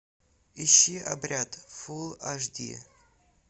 ищи обряд фулл аш ди